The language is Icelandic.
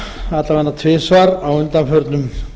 nokkrum sinnumalla vega tvisvar á undanförnum